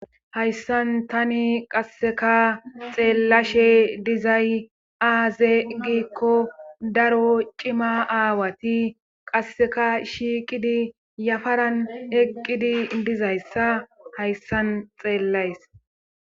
Hayssan tani qasseka xeellashe dizay aaze giikko daro cima aawati qasseka shiiqidi yafaran eqqidi dizayssa hayssan xeellays